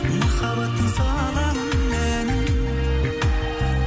махаббаттың саламын әнін